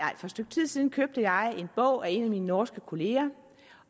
stykke tid siden købte jeg en bog af en af mine norske kolleger